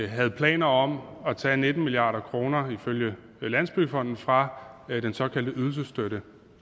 havde planer om at tage nitten milliard kroner ifølge landsbyggefonden fra den såkaldte ydelsesstøtte